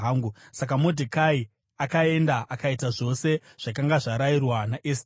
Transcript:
Saka Modhekai akaenda akaita zvose zvakanga zvarayirwa naEsteri.